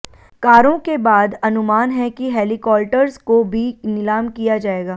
कारों के बाद अनुमान है कि हेलीकॉल्टर्स को भी निलाम किया जाएगा